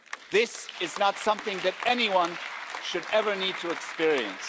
This is not something that anyone should ever need to experience.